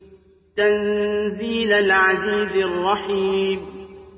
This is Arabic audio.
تَنزِيلَ الْعَزِيزِ الرَّحِيمِ